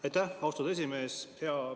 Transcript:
Aitäh, austatud esimees!